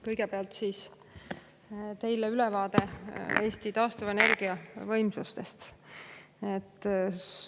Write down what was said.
Kõigepealt annan teile ülevaate Eesti taastuvenergia võimsuste kohta.